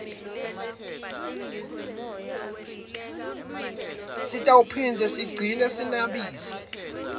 sitawugcina siphindze senabise